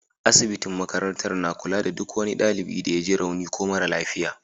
Asibitin makarantar na kula da duk wani dalibi da ya ji rauni ko mara lafiya.